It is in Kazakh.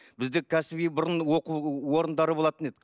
бізде кәсіби бұрынғы оқу орындары болатын еді